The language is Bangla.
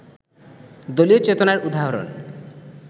দলীয় চেতনার উদাহরণ